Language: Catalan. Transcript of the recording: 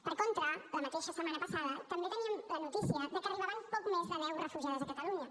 per contra la mateixa setmana passada també teníem la notícia que arribaven poc més de deu refugiades a catalunya